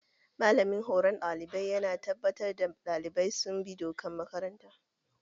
Malamin horon ɗalibai ya na tabbatar da ɗalibai sun bi dokar makaranta